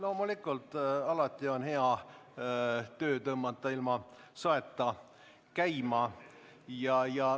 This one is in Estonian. Loomulikult, alati on hea tõmmata töö ilma saeta käima.